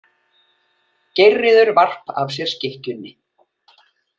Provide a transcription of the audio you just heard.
Geirríður varp af sér skikkjunni.